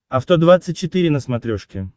авто двадцать четыре на смотрешке